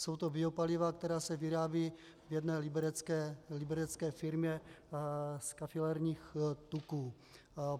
Jsou to biopaliva, která se vyrábějí v jedné liberecké firmě z kafilerních tuků.